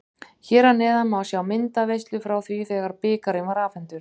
Hér að neðan má sjá myndaveislu frá því þegar bikarinn var afhentur.